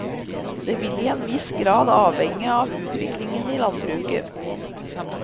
Det vil i en viss grad avhenge av utviklingen i landbruket.